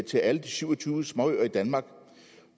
til alle de syv og tyve småøer i danmark